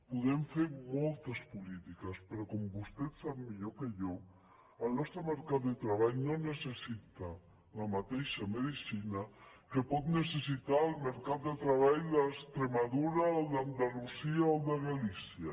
podem fer moltes polítiques però com vostè sap millor que jo el nostre mercat de treball no necessita la ma·teixa medicina que pot necessitar el mercat de treball d’extremadura o el d’andalusia o el de galícia